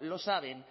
lo saben